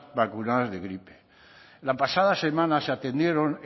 vacunadas de gripe la pasada semana se atendieron